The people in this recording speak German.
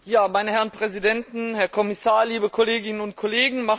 Meine Herren Präsidenten, Herr Kommissar, liebe Kolleginnen und Kollegen!